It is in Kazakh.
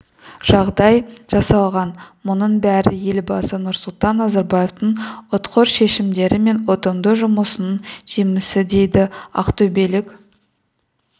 жағдай жасалған мұның бәрі елбасы нұрсұлтан назарбаевтың ұтқыр шешімдері мен ұтымды жұмысының жемісі дейді ақтөбелік